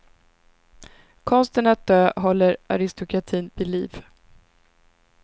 Konsten att dö håller aristokratin vid liv.